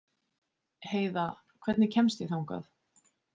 Heiða, hvernig kemst ég þangað?